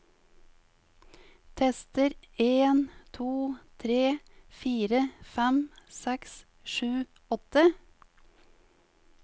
Tester en to tre fire fem seks sju åtte